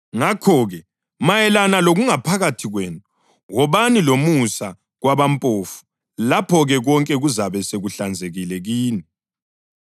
Ngakho-ke, mayelana lokungaphakathi kwenu, wobani lomusa kwabampofu, lapho-ke konke kuzabe sekuhlanzekile kini.